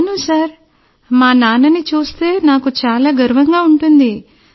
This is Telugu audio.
అవును సార్ మా నాన్నని చూస్తే నాకు చాలా గర్వంగా ఉంటుంది